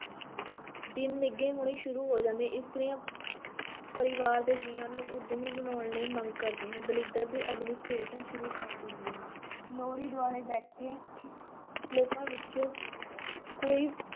ਦਿਨ ਨਿੱਘੇ ਹੋਣੇ ਸ਼ੁਰੂ ਹੋ ਜਾਂਦੇ, ਇਸਤਰੀਆਂ ਪਰਿਵਾਰ ਦੇ ਜੀਆਂ ਨੂੰ ਉੱਦਮੀ ਬਣਾਉਣ ਲਈ ਮੰਗ ਕਰਦੀਆਂ ਦਲਿੱਦਰ ਦੀ ਅਗਨੀ-ਭੇਟ ਸ਼ੁਰੂ ਕਰ ਦਿੰਦੀਆਂ, ਲੋਹੜੀ ਦੁਆਲੇ ਬੈਠੇ ਲੋਕਾਂ ਵਿੱਚੋਂ ਕੋਈ